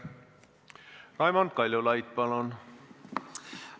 Raimond Kaljulaid, palun!